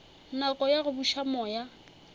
nako ya go buša moya